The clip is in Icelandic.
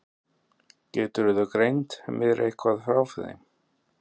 Geturðu greint mér eitthvað frá þeim?